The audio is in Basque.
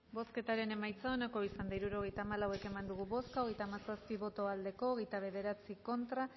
bozketaren emaitza onako izan da hirurogeita hamalau eman dugu bozka hogeita hamazazpi boto aldekoa veintinueve contra